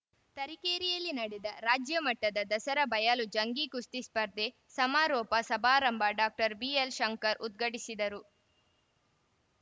ತರೀಕೆರೆಯಲ್ಲಿ ನಡೆದ ರಾಜ್ಯಮಟ್ಟದ ದಸರಾ ಬಯಲು ಜಂಗೀ ಕುಸ್ತಿ ಸ್ಪರ್ಧೆ ಸಮಾರೋಪ ಸಮಾರಂಭ ಡಾಕ್ಟರ್ ಬಿಎಲ್‌ಶಂಕರ್‌ ಉದ್ಘಾಟಿಸಿದರು